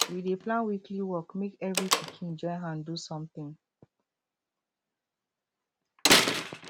we dey plan weekly work make every pikin join hand do something